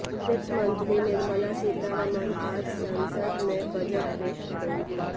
वित्त मंत्री निर्मला सीतारमण आज संसद में बजट पेश करेंगी